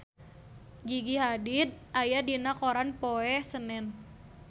Gigi Hadid aya dina koran poe Senen